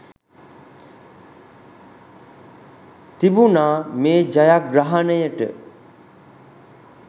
තිබුණා මේ ජයග්‍රහණයට.